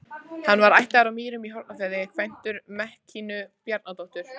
Hann var ættaður af Mýrum í Hornafirði, kvæntur Mekkínu Bjarnadóttur.